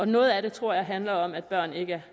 noget af det tror jeg handler om at børn ikke er